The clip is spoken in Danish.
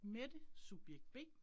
Mette, subjekt B